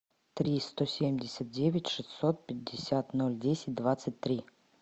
три сто семьдесят девять шестьсот пятьдесят ноль десять двадцать три